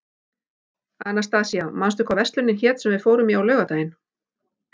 Anastasía, manstu hvað verslunin hét sem við fórum í á laugardaginn?